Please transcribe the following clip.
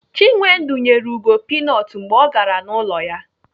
Chinwendu nyere Ugo pinut mgbe ọ gara n'ụlọ ya